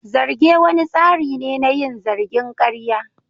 Zarge wani tsari ne na yin zargin karya.